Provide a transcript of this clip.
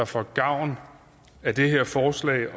får gavn af det her forslag og